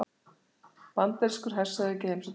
Bandarískur hershöfðingi heimsótti Gæsluna